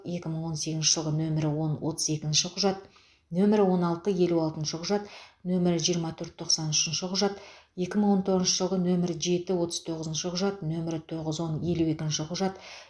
екі мың он сегізінші жылғы нөмірі он отыз екініші құжат нөмірі он алты елу алтыншы құжат нөмірі жиырма төрт тоқсан үшінші құжат екі мың он тоғызыншы жылғы нөмірі жеті отыз тоғызыншы құжат нөмірі тоғыз он елу екінші құжат